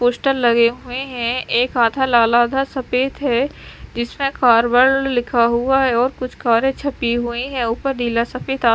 poster लगे हुए हैं एक आधा लाल आधा सफेद है जिसमें कारवर्ल्ड लिखा हुआ है और कुछ कारे छपी हुई है ऊपर नीला सा किता--